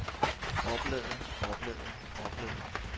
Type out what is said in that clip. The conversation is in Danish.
oplaget oplaget oplaget